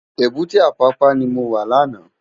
Ébùté Apapa ni mó wá làná